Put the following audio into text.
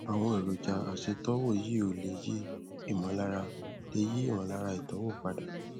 àwọn èròjà aṣètọwò yìí ò lè yí ìmọlára lè yí ìmọlára ìtọwò padà